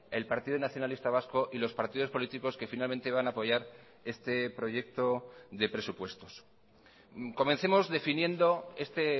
el partido nacionalista vasco y los partidos políticos que finalmente van a apoyar este proyecto de presupuestos comencemos definiendo este